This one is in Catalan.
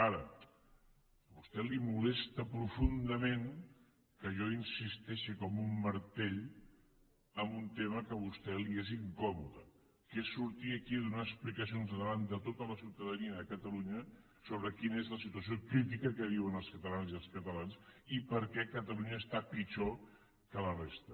ara a vostè li molesta profundament que jo insisteixi com un martell en un tema que a vostè li és incòmode que és sortir aquí a donar explicacions davant de tota la ciutadania de catalunya sobre quina és la situació crítica que viuen les catalanes i els catalans i per què catalunya està pitjor que la resta